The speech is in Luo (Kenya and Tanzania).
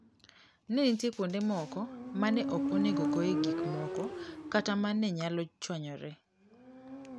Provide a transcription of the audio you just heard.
Ne ni nitie kuonde moko ma ne ok onego ogoye gik moko kata ma ne nyalo chwanyore.